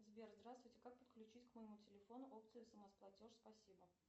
сбер здравствуйте как подключить к моему телефону опцию смс платеж спасибо